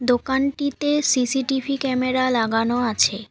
দোকানটিতে CCTV camera লাগানো আছে।